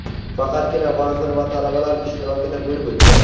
faqatgina vazir va talabalar ishtirokida bo‘lib o‘tdi.